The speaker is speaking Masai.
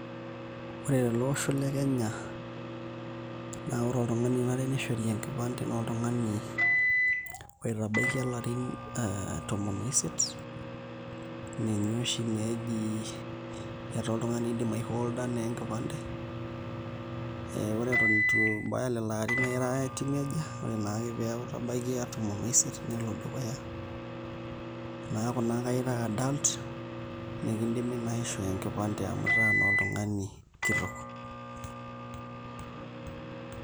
Ore tele osho le Kenya naa ore oltung'ani onare nishore enkipande naa oltung'ani oitabaikia ilarin tomon oisiet ninye oshi naa eji etaa oltung'ani oidim aiholda enkipande ore eton itu ibaya lelo arrin na ira teenager, ore naa ake pee eeku itabaikia tomon oisiet nelo dukuya neeku naa ira adult nikidimi naa aishoo enkipande amu itaa naa oltung'ani kitok.